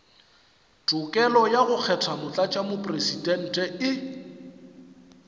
tokelo ya go kgetha motlatšamopresidente